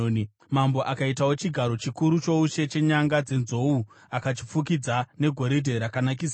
Mambo akaitawo chigaro chikuru choushe chenyanga dzenzou akachifukidza negoridhe rakanakisisa.